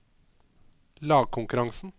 lagkonkurransen